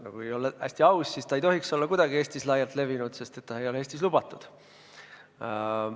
No kui olla hästi aus, siis ta ei tohiks olla kuidagi Eestis laialt levinud, sest ta ei ole Eestis lubatud.